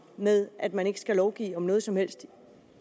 med at man ikke skal lovgive om noget som helst